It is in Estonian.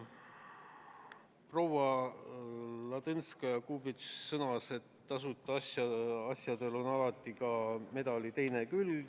Proua Ladõnskaja-Kubits sõnas, et tasuta asjade puhul on medalil alati ka teine külg.